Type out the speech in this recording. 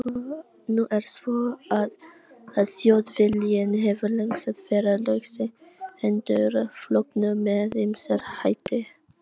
Nú er það svo að Þjóðviljinn hefur lengst af verið laustengdur flokknum með ýmsum hætti.